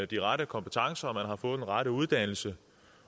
de rette kompetencer og man har fået den rette uddannelse